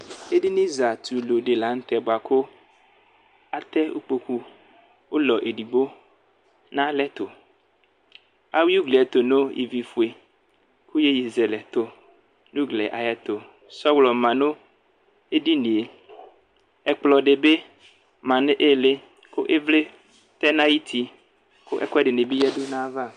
Edini zatulu di la nu tɛ atɛ ikpoku ulɔ edigbo nalɛtu ayui uglie tu nu ivi fue ku iyeye zɛlɛ tu nu uglie ayɛtu sɔlɔ ma nu edinie ɛkplɔ dibi ma nu ili ivli tɛ nu ayuti ku ɛkuɛdi bi yadu nu ayava